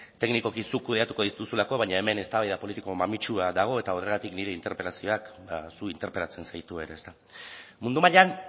teknikoki zuk kudeatuko dituzulako baina hemen eztabaida politiko mamitsua dago eta horregatik nire interpelazioak zu interpelatzen zaitu ere ezta mundu mailan